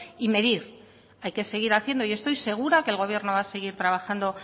y medir hay que seguir haciendo y estoy segura que el gobierno va a seguir trabajando